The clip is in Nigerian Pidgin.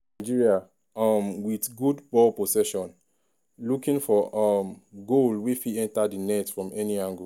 nigeria um wit good ba;; possession looking for um goal wey fit enta di net from any angle.